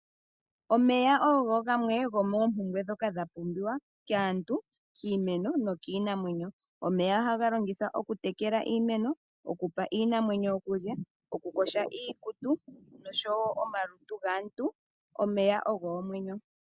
Omeya ogo gamwe go moompumbwe dhoka dha pumbiwa kaantu, kiimeno nokiinamwenyo. Omeya ohaga longithwa okutekele iimeno, okupa iinamwenyo okulya, okuyoga iikutu nosho woo omalutu gaantu. Omeya ogo omwenyo.